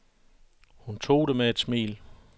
Hun tog det med et smil.